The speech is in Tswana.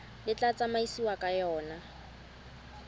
le tla tsamaisiwang ka yona